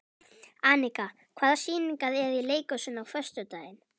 Anika, hvaða sýningar eru í leikhúsinu á föstudaginn?